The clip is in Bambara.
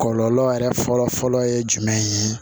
Kɔlɔlɔ yɛrɛ fɔlɔ fɔlɔ ye jumɛn ye